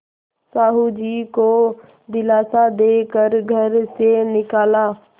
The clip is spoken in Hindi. साहु जी को दिलासा दे कर घर से निकाला